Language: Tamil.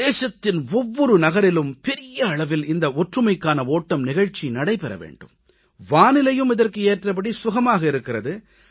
தேசத்தின் ஒவ்வொரு நகரிலும் பெரிய அளவில் இந்த ஒற்றுமைக்கான ஓட்டம் நிகழ்ச்சி நடைபெற வேண்டும் வானிலையும் இதற்கு ஏற்றபடி சுகமாக இருக்கிறது